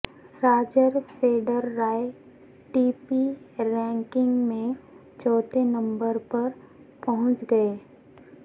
Roger Federer A T P ranking میں چوتھے نمبر پر پہنچ گئے